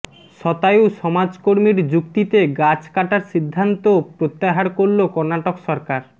শতায়ু সমাজকর্মীর যুক্তিতে গাছ কাটার সিদ্ধান্ত প্রত্যাহার করল কর্নাটক সরকার